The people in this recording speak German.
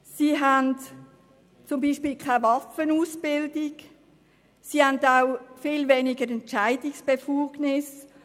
Sie haben keine Waffenausbildung und viel weniger Entscheidungsbefugnis.